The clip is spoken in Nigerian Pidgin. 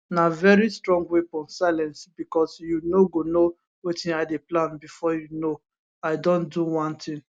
na very strong weapon silence becos you no go know wetin i dey plan bifor you know i don do one tin